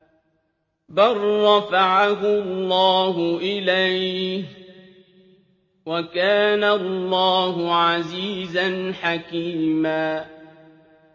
بَل رَّفَعَهُ اللَّهُ إِلَيْهِ ۚ وَكَانَ اللَّهُ عَزِيزًا حَكِيمًا